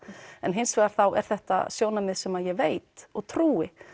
hins vegar þá er þetta sjónarmið sem ég veit og trúi